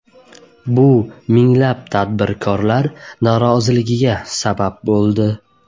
Bu minglab tadbirkorlar noroziligiga sabab bo‘ldi.